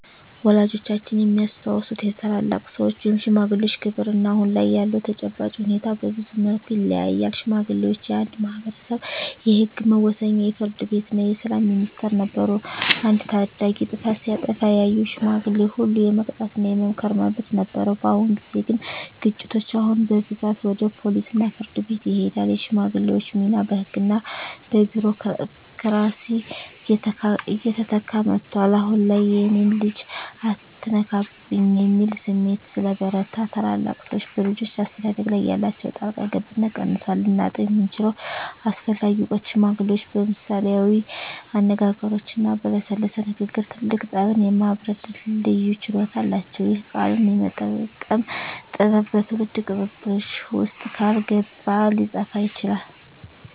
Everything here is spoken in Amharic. ወላጆቻችን የሚያስታውሱት የታላላቅ ሰዎች (ሽማግሌዎች) ክብርና አሁን ላይ ያለው ተጨባጭ ሁኔታ በብዙ መልኩ ይለያያል። ሽማግሌዎች የአንድ ማኅበረሰብ የሕግ መወሰኛ፣ የፍርድ ቤትና የሰላም ሚኒስቴር ነበሩ። አንድ ታዳጊ ጥፋት ሲያጠፋ ያየው ሽማግሌ ሁሉ የመቅጣትና የመምከር መብት ነበረው። በአሁን ጊዜ ግን ግጭቶች አሁን በብዛት ወደ ፖሊስና ፍርድ ቤት ይሄዳሉ። የሽማግሌዎች ሚና በሕግና በቢሮክራሲ እየተተካ መጥቷል። አሁን ላይ "የእኔን ልጅ አትነካብኝ" የሚል ስሜት ስለበረታ፣ ታላላቅ ሰዎች በልጆች አስተዳደግ ላይ ያላቸው ጣልቃ ገብነት ቀንሷል። ልናጣው የምንችለው አስፈላጊ እውቀት ሽማግሌዎች በምሳሌያዊ አነጋገሮችና በለሰለሰ ንግግር ትልቅ ጠብን የማብረድ ልዩ ችሎታ አላቸው። ይህ "ቃልን የመጠቀም ጥበብ" በትውልድ ቅብብሎሽ ውስጥ ካልገባ ሊጠፋ ይችላል።